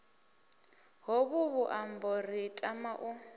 hovhu vhuṱambo ri tama u